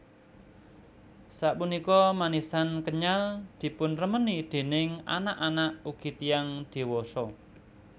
Sapunika manisan kenyal dipunremeni déning anak anak ugi tiyang diwasa